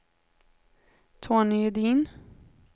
Tony Edin